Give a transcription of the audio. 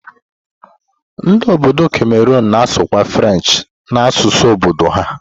Ndi obodo Cameroon na-asụkwa French na asụsụ obodo ha.